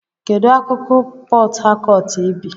Kedu akụkụ Port Harcourt ị bi?